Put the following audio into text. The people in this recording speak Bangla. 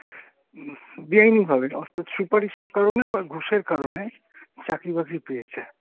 বেআইনিভাবে অর্থাৎ সুপারিশের কারণে বা ঘুষের কারণে চাকরি বাকরি পেয়েছে।